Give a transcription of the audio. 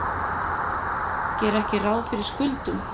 Gera ekki ráð fyrir skuldunum